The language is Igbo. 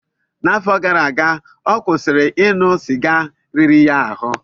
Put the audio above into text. N'afọ gara aga, ọ kwụsịrị ịṅụ sịga riri ya ahụ.